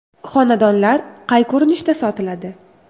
Xonadonlar qay ko‘rinishda sotiladi?